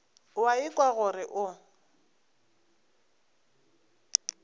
o a ikwa gore o